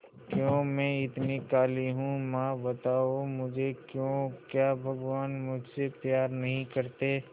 क्यों मैं इतनी काली हूं मां बताओ मुझे क्यों क्या भगवान मुझसे प्यार नहीं करते